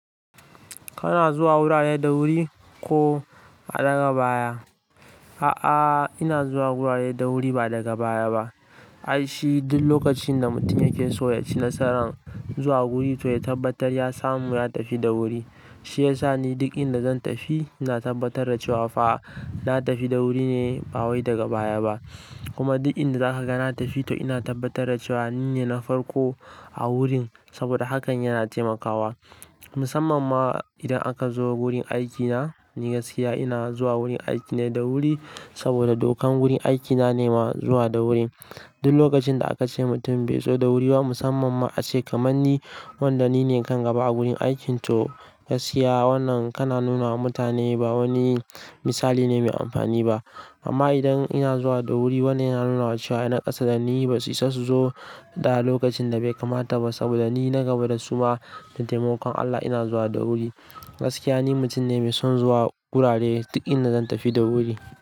Kana zuwa wurare da wuri ko a daga baya? A'a, ina zuwa wurare da wuri ba daga baya ba. Ai shi duk lokacin da mutum yake so ya ci nasaran zuwa guri, to ya tabbatar ya samu ya tafi da wuri. Shi ya sa ni duk inda zan tafi, ina tabbatar da cewa fa na tafi na wuri ne ba wai daga baya ba. Kuma duk inda zaka ga na tafi, to ina tabbatar da cewa nine na farko a wurin saboda hakan yana taimakawa. Musamman ma idan aka zo wurin aikina, ni gaskiya ina zuwa wurin aikina da wuri saboda dokan wurin aikina ne ma zuwa da wuri. Duk lokacin da aka ce mutum bai zo da wuri ba, musamman ma a ce kamar ni wanda nine kan gaba a wurin aikin to gaskiya wannan kana nuna wa mutane ba wani misali ne mai amfani ba. Amma idan ina zuwa da wuri, wannan yana nuna wa cewa ina ƙasada ni ba su isa su zo da lokacin da bai kamata ba saboda ni na gaba da su ma da taimakon Allah ina zuwa da wuri. Gaskiya ni mutum ne mai son zuwa wurare duk inda zan tafi da wuri.